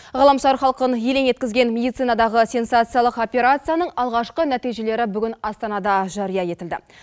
ғаламшар халқын елең еткізген медицинадағы сенсациялық операцияның алғашқы нәтижелері бүгін астанада жария етілді